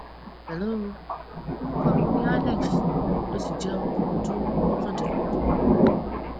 hello orúkọ mi ni alex mo sì jẹ ọmọ ọdún mọkàndínlógún